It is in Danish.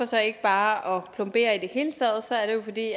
så ikke bare plomberer i det hele taget så er det jo fordi